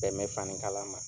bɛn bɛ fani kala ma.